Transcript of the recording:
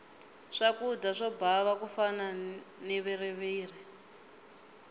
swakudya swo bava ku fana na viriviri